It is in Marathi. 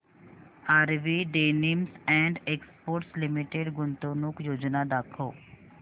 RV denims and exports limited गुंतवणूक योजना दाखव